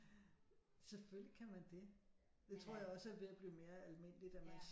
Selvfølgelig kan man det det tror jeg også er ved at blive mere almindeligt at man